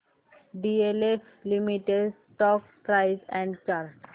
DLF limited stock price and chart